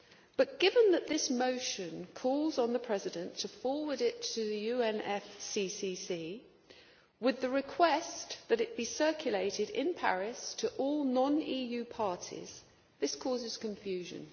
But given that this motion calls on the President to forward it to the UNFCCC with the request that it be circulated in Paris to all non EU parties, this causes confusion.